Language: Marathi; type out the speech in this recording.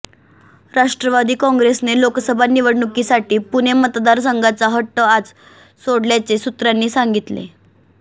राष्ट्रवादी काॅंग्रेसने लोकसभा निवडणुकीसाठी पुणे मतदारसंघाचा हट्ट आज सोडल्याचे सूत्रांनी सांगितले